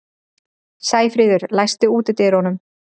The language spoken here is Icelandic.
Sæfríður, læstu útidyrunum.